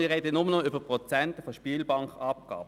Wir sprechen nur noch über Prozente der Spielbankenabgabe.